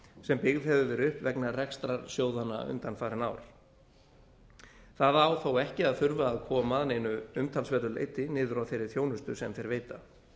sem byggð hefur verið upp vegna rekstrar sjóðanna undanfarin ár það á þó ekki að þurfa að koma að neinu umtalsverðu leyti niður á þeirri þjónustu sem þeir veita